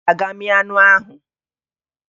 Ị ga-aga mịa anụ ahụ!